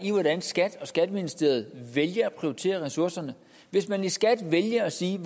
i hvordan skat og skatteministeriet vælger at prioritere ressourcerne hvis man i skat vælger at sige at